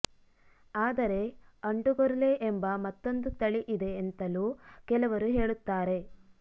ಆದರೆ ಅಂಡುಗೊರ್ಲೆ ಎಂಬ ಮತ್ತೊಂದು ತಳಿ ಇದೆ ಎಂತಲೂ ಕೆಲವರು ಹೇಳುತ್ತಾರೆ